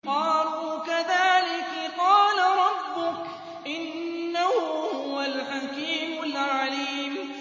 قَالُوا كَذَٰلِكِ قَالَ رَبُّكِ ۖ إِنَّهُ هُوَ الْحَكِيمُ الْعَلِيمُ